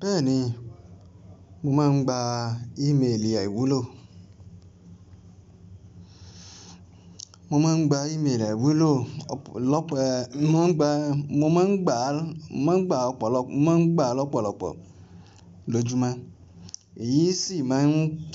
Bẹ́ẹ̀ni, mo máa ń gba email aiwúlò. Mo máa ń gba email aiwúlò lọ́pọ̀, mo máa ń gba, mo máa ń gba, mo máa ń gba ọ̀pọ̀lọpọ̀, mo máa ń gba lọ̀pọ̀lọpọ̀ lójúmọ́. Èyí sì máa ń,